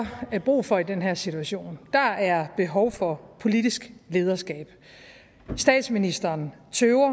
brug for i den her situation der er behov for politisk lederskab statsministeren tøver